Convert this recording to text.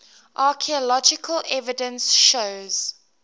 archaeological evidence shows